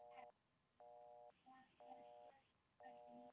Þetta er hvergi nærri nóg.